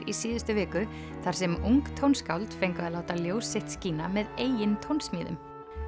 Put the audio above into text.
í síðustu viku þar sem ung tónskáld fengu að láta ljós sitt skína með eigin tónsmíðum